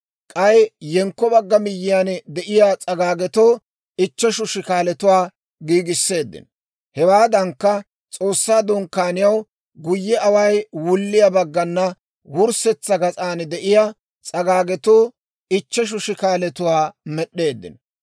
k'ay yenkko bagga miyyiyaan de'iyaa s'agaagetoo ichcheshu shikaalatuwaa giigisseeddino. Hewaadankka, S'oossaa Dunkkaaniyaw guyye away wulliyaa baggana wurssetsa gas'an de'iyaa s'agaagetoo ichcheshu shikaalatuwaa med'd'eeddino.